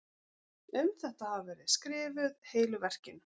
um þetta hafa verið skrifuð heilu verkin